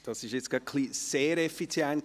Bernhard Riem, dies war etwas gar effizient.